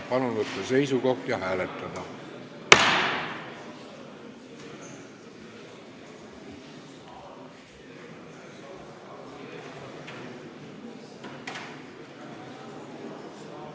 Palun võtta seisukoht ja hääletada!